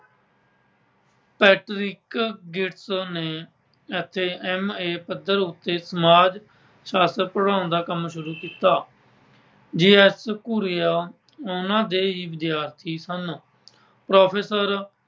Patrick Gates ਨੇ ਅਤੇ M. A ਪੱਧਰ ਉੱਤੇ ਸਮਾਜ ਸ਼ਾਸਤਰ ਪੜ੍ਹਾਉਣ ਦਾ ਕੰਮ ਸ਼ੁਰੂ ਕੀਤਾ। G. S Ghurye ਉਨ੍ਹਾਂ ਦੇ ਹੀ ਵਿਦਿਆਰਥੀ ਸਨ। Professor